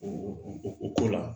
U k'o la